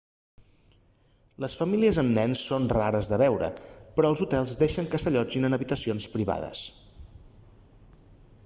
les famílies amb nens són rares de veure però els hotels deixen que s'allotgin en habitacions privades